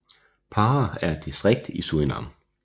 Para er et distrikt i Surinam